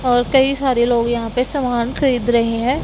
और कई सारे लोग यहां पे सामान खरीद रहे हैं।